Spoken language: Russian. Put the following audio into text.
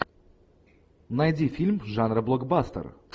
найди фильм жанра блокбастер